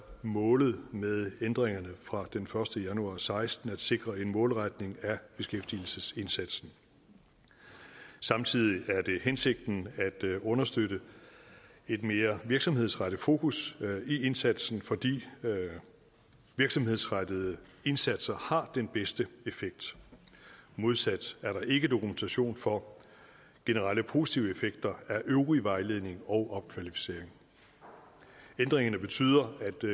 målet med ændringerne fra den første januar og seksten at sikre en målretning af beskæftigelsesindsatsen samtidig er det hensigten at understøtte et mere virksomhedsrettet fokus i indsatsen fordi virksomhedsrettede indsatser har den bedste effekt modsat er der ikke dokumentation for generelle positive effekter af øvrig vejledning og opkvalificering ændringerne betyder